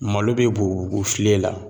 Malo be bugu bugu o filen la